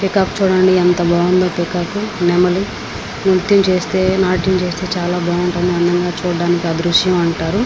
ఇక్కడ మనకి ఒక ఇల్లు కనిపిస్తుంది. చుడానికి ఒక గుహలగా ఉంది.